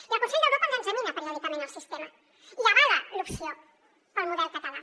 i el consell d’europa ens examina periòdicament el sistema i avala l’opció pel model català